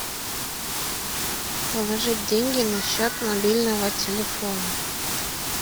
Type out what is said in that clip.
положить деньги на счет мобильного телефона